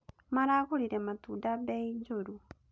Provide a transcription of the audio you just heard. Maragũrire matunda bei njũru